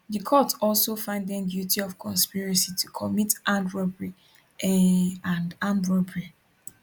di court also find dem guilty of conspiracy to commit armed robbery um and armed robbery